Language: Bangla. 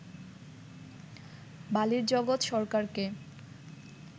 বালির জগৎ সরকারকে